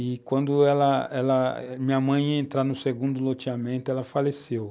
E quando ela ela, minha mãe ia entrar no segundo loteamento, ela faleceu.